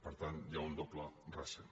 per tant hi ha un doble raser